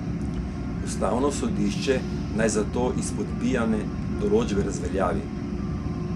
Ustavno sodišče naj zato izpodbijane določbe razveljavi.